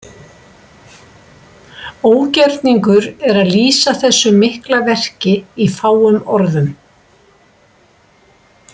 Ógerningur er að lýsa þessu mikla verki í fáum orðum.